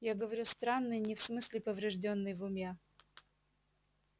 я говорю странный не в смысле повреждённый в уме